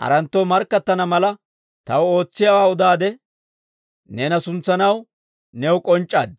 haranttoo markkattana mala, taw ootsiyaawaa udaade neena suntsanaw new k'onc'c'aad.